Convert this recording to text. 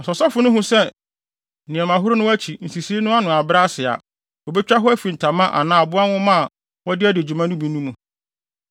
Na sɛ ɔsɔfo no hu sɛ nneɛmahoro no akyi, nsisii no ano abrɛ ase a, obetwa hɔ afi ntama anaa aboa nwoma a wɔde adi dwuma bi no mu.